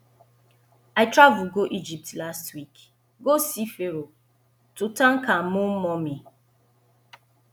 i travel go egypt last week go see pharoah tutankhamun mummy